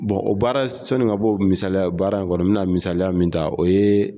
Bon o baara sani ka bɔ misalya baara in kɔnɔ min na misalaya min ta o ye